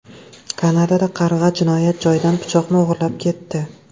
Kanadada qarg‘a jinoyat joyidan pichoqni o‘g‘irlab ketdi.